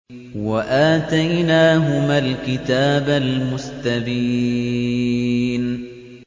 وَآتَيْنَاهُمَا الْكِتَابَ الْمُسْتَبِينَ